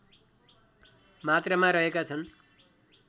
मात्रामा रहेका छन्